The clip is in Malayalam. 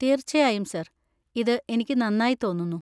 തീർച്ചയായും, സർ. ഇത് എനിക്ക് നന്നായി തോന്നുന്നു.